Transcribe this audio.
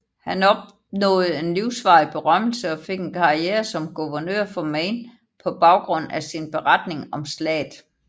Han opnåede en livsvarig berømmelse og fik en karriere som guvernør for Maine på baggrund af sin beretning om slaget